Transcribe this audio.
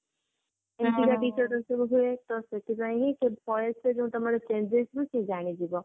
ହୁଁ ventilation ହୁଏ ତ ସେଥିପାଇଁ ହିଁ ତମ voice ର ତମର ଯୋଊ changes ରୁ ସିଏ ଜାଣିଯିବ